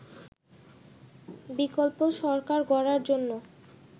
বিকল্প সরকার গড়ার জন্য